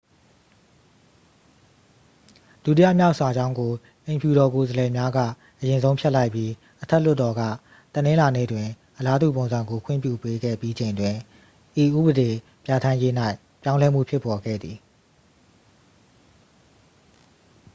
ဒုတိယမြောက် စာကြောင်းကို အိမ်ဖြူတော် ကိုယ်စားလှယ်များက အရင်ဆုံး ဖျက်လိုက်ပြီး အထက်လွှတ်တော်က တနင်္လာနေ့တွင် အလားတူပုံစံကို ခွင့်ပြု ပေးခဲ့ပြီးချိန်တွင် ဤဥပဒေပြဠာန်းရေး၌ ပြောင်းလဲမှုဖြစ်ပေါ်ခဲ့သည်